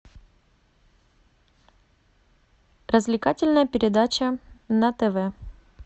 развлекательная передача на тв